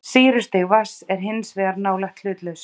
Sýrustig vatns er hins vegar nálægt hlutlausu.